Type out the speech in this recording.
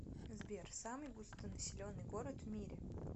сбер самый густонаселенный город в мире